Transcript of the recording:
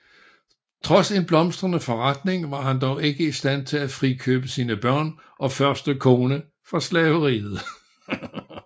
Trods en blomstrende forretning var han dog ikke i stand til at frikøbe sine børn og første kone fra slaveriet